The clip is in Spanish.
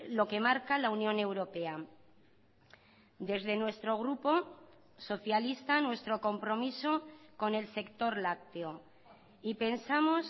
lo que marca la unión europea desde nuestro grupo socialista nuestro compromiso con el sector lácteo y pensamos